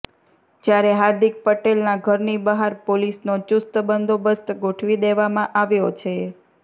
જ્યારે હાર્દિક પટેલના ઘરની બહાર પોલીસનો ચુસ્ત બંદોબસ્ત ગોઠવી દેવામાં આવ્યો છે